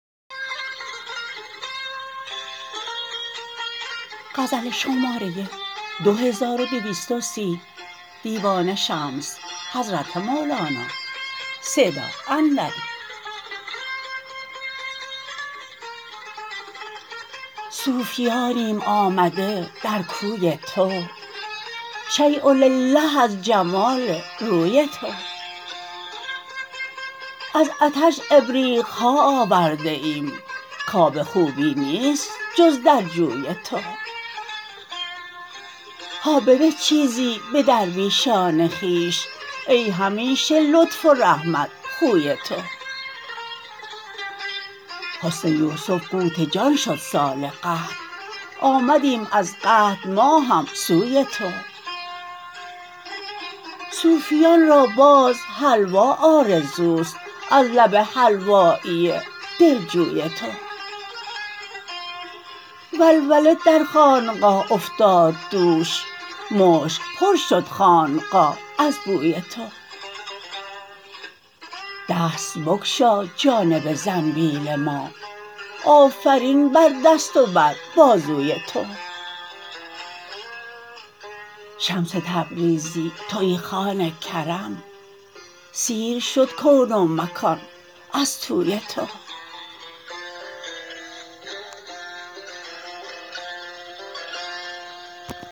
صوفیانیم آمده در کوی تو شیء لله از جمال روی تو از عطش ابریق ها آورده ایم کاب خوبی نیست جز در جوی تو هابده چیزی به درویشان خویش ای همیشه لطف و رحمت خوی تو حسن یوسف قوت جان شد سال قحط آمدیم از قحط ما هم سوی تو صوفیان را باز حلوا آرزو است از لب حلوایی دلجوی تو ولوله در خانقاه افتاد دوش مشک پر شد خانقاه از بوی تو دست بگشا جانب زنبیل ما آفرین بر دست و بر بازوی تو شمس تبریزی توی خوان کرم سیر شد کون و مکان از طوی تو